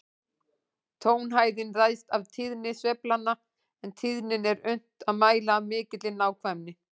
Tónhæðin ræðst af tíðni sveiflanna, en tíðnina er unnt að mæla af mikilli nákvæmni.